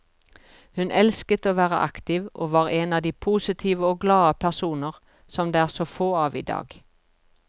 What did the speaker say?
Hun elsket å være aktiv, og var en av de positive og glade personer som det er så få av i dag.